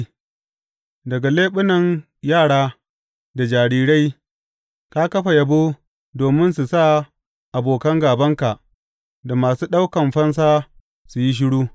Daga leɓunan yara da jarirai ka kafa yabo domin su sa abokan gābanka da masu ɗaukan fansa su yi shiru.